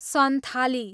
Santhali